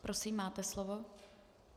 Prosím, máte slovo.